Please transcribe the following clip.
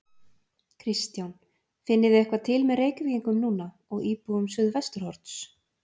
Kristján: Finnið þið eitthvað til með Reykvíkingum núna og íbúum Suðvesturhorns?